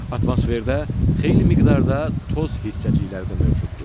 Atmosferdə xeyli miqdarda toz hissəcikləri də mövcuddur.